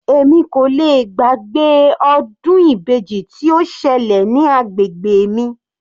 Èmi kò lè gbàgbé ọdún ibeji tí ó ṣẹlẹ̀ ní agbègbè mi.